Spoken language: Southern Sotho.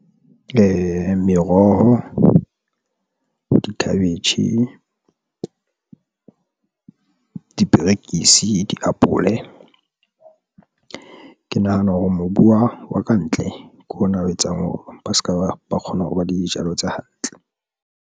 Meroho, di-cabbage, diperekisi diapole ke nahana hore mobu wa kantle ke ona o etsang hore ba se ka ba kgona hore ba dijalo tse hantle.